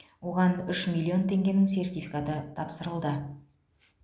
оған үш миллион теңгенің сертификаты тапсырылды